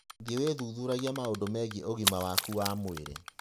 Thiĩ wĩthuthuragie maũndũ megiĩ ũgima waku wa mwĩrĩ.